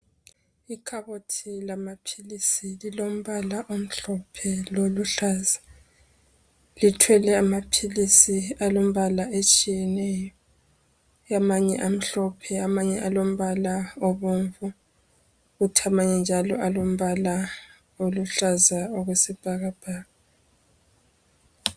Ikhabothi lamaphilizi lilombala omhlophe loluhlaza, lithwele amaphilizi alombala etshiyeneyo amanye amhlophe amanye alombala alombala obomvu amanye njalo alombala oluhlaza okwesibhakabhaka.